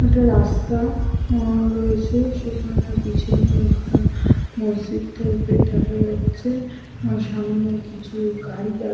একটা রাস্তা আ রয়েছে। সেখানে পেছনে একটা মসজিদ টাইপের দেখা যাচ্ছে । ওই সামনে কিছু গাড়ি দাঁড় --